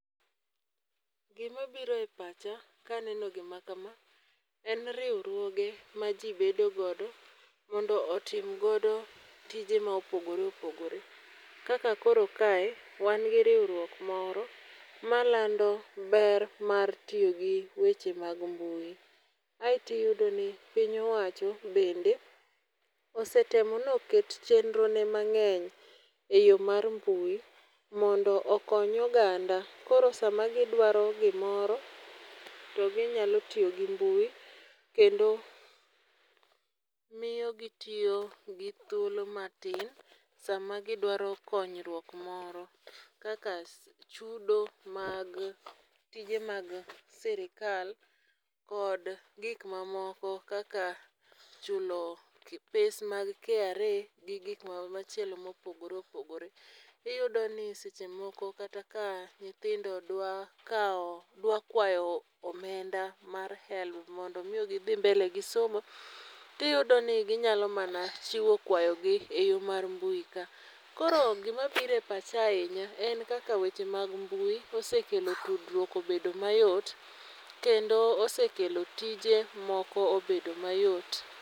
Gima biro epacha ka aneno gima kama, en riwruoge ma ji bedo godo mondo otim godo tije ma opogore opogore. Kaka koro kae wangi riwruok moro ma lando ber matiyogi weche mag mbui. Eeto iyudoni piny owacho bende osetemo noket chenro ne mang'eny e yoo mar mbui mondo okony oganda koro sama gidwaro gimoro to ginyalo tiyogi mbui kendo miyo gi tiyo gi thuolo matin sama gidwaro konyruok moro kaka chudo mag tije mag sirikal kod gik mamoko kaka chudo pes mag KRA gi gik ma machielo maopogore opogore. Iyudo ni sechemoko kata ka nyithindo dwa kawo dwa kwayo omenda mar HELB mondo mi gi dhi mbele gi somo. Tiyudo ni ginyalo mana chiwo kwayogi e yoo mar mbui ka. Koro gima biro epacha ahinya, en kaka weche mag mbui osekelo tudruok obedo mayot kendo osekelo tije moko obedo mayot.